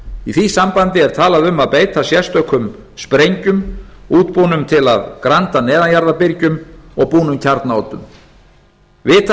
í því sambandi er talað um að beita sérstökum sprengjum útbúnum til að granda neðanjarðarbyrgjum og búnar kjarnaoddum vitað